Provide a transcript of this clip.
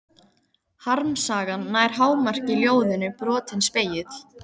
Harmsagan nær hámarki í ljóðinu Brotinn spegill.